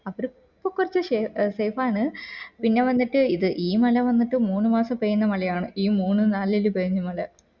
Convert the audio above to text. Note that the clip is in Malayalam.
അവരൊക്കെ ഇപ്പൊ ഷെ safe ആണ് പിന്നെ വന്നിട്ട് ഇത് ഈ മല വന്നിട്ട് മൂന്ന് മാസം പെയ്യുന്ന മലയാണ് ഈ മൂന്ന് നാലില് പെയ്യുന്ന മല